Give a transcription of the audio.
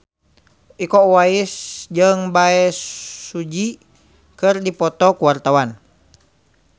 Iko Uwais jeung Bae Su Ji keur dipoto ku wartawan